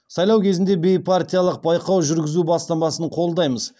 сайлау кезінде бейпартиялық байқау жүргізу бастамасын қолдаймыз